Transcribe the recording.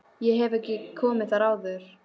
Ég hef ekki komið þar áður.